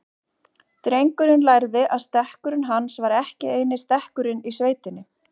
Drengur lærði að stekkurinn hans var ekki eini stekkurinn í sveitinni.